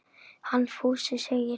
Hann Fúsi segir það.